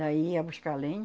Daí ia buscar lenha